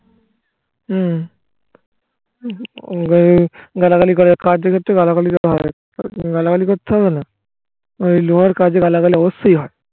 হুম ওরে গালাগালি করার কার্যক্ষেত্রে গালাগালি করতে হবে গালাগালি করতে হবে না ওই লোহার কাজে গালাগালি অবশ্যই হয়